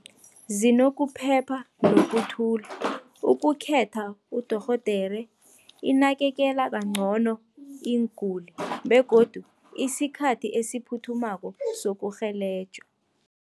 Zinokuphepha nokuthula, ukukhetha udorhodere, inakekela kancono iinguli begodu isikhathi esiphuthumako sokurhelejwa.